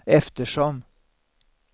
eftersom